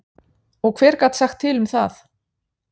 Og hver gat sagt til um það?